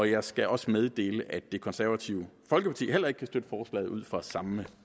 jeg skal også meddele at det konservative folkeparti heller ikke kan støtte forslaget ud fra samme